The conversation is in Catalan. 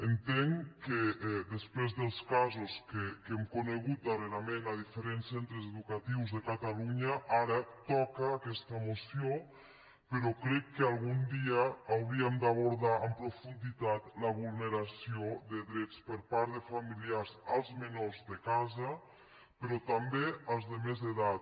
entenc que després dels casos que hem conegut darrerament a diferents centres educatius de catalunya ara toca aquesta moció però crec que algun dia hauríem d’abordar en profunditat la vulneració de drets per part de familiars als menors de casa però també als de més edat